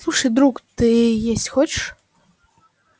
слушай друг ты есть хочешь